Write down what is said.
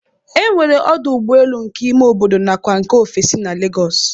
E nwere ọdụ ụgbọelu nke ime obodo nakwa nke ofesi na Legọọsị